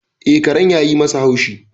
E, karen yayi masa haushi.